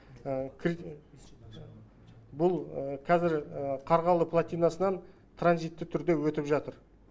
бұл қазір қарғалы платинасынан транзитті түрде өтіп жатыр